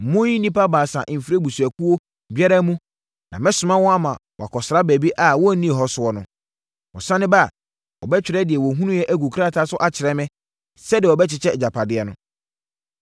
Monyi nnipa baasa mfiri abusuakuo biara mu na mɛsoma wɔn ama wɔakɔsra baabi a wɔnnii hɔ soɔ no. Wɔsane ba a, wɔbɛtwerɛ deɛ wɔhunuiɛ agu krataa so akyerɛ me sɛdeɛ wɔbɛkyekyɛ agyapadeɛ no.